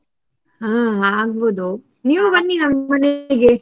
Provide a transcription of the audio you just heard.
ಹಾ ಆಗ್ಬೋದು ಬನ್ನಿ ನಮ್ಮ ಮನಗೆ.